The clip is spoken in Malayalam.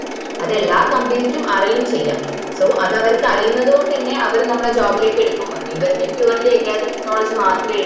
അത് എല്ലാ company ക്കു അറിയും ചെയ്യാ so അത് അവർക്ക് അറിയുന്നത് കൊണ്ടെന്നേ അവർ നമ്മളെ job ലേക്ക് എടുക്കുമ്പോ ഇവർക്ക് purely academic knowledge മാത്രേള്ളൂ